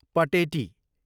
Pateti